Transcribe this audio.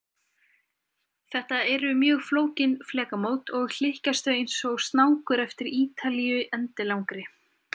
Þetta eru mjög flókin flekamót, og hlykkjast þau eins og snákur eftir Ítalíu endilangri.